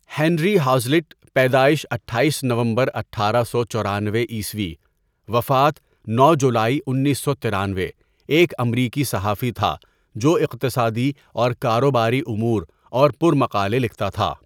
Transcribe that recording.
Henry Hazlitt پیدائش اٹھایس نومبر اٹھارہ سو چورانوے عیسوی، وفات نو جولائی انیس سو ترانوے ایک امریکی صحافی تھا جو اقتصادی اور کاروباری اُمور اور پر مقالے لکھتا تھا.